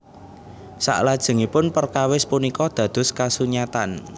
Saklajengipun perkawis punika dados kasunyatan